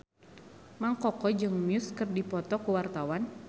Mang Koko jeung Muse keur dipoto ku wartawan